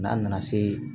N'an nana se